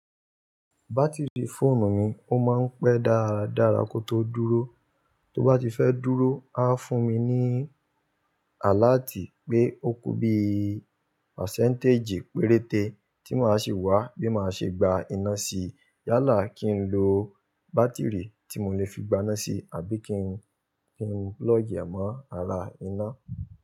Batiri fóònù mi ó máa ń pé dáradára kó tó dúró. Tó bá ti fẹ́ dúró, á fún mi ní àláàtì pé ó kú bí i pasẹ́ǹtèjì péréte tí màá ṣi wá bí màá ṣe gba iná si. Yálà kí n lo bátìrì tí mo lè fi gba iná si àbí kí n, kí n plugi ẹ̀ mọ́ ara iná.